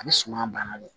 A bɛ suma bana de